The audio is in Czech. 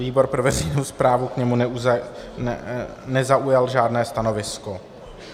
Výbor pro veřejnou správu k němu nezaujal žádné stanovisko.